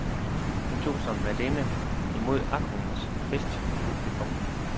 Hun tog som værtinde imod aftenens festpublikum.